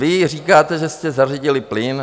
Vy říkáte, že jste zařídili plyn.